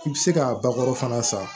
I bɛ se ka bakuru fana san